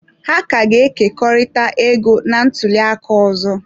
Ha ka ga-ekekọrịta ego na ntuli aka ọzọ.